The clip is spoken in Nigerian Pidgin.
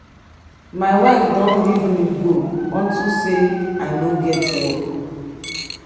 my wife don leave me go unto say i no get work.